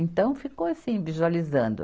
Então, ficou assim, visualizando.